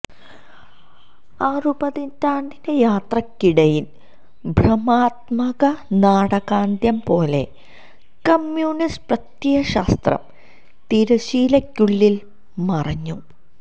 ആറുപതിറ്റാണ്ടിന്റെ യാത്രക്കിടയില് ഭ്രമാത്മക നാടകാന്ത്യം പോലെ കമ്മ്യൂണിസ്റ്റ് പ്രത്യയശാസ്ത്രം തിരശീലക്കുള്ളില് മറഞ്ഞു